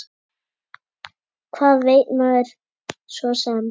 Hvað veit maður svo sem.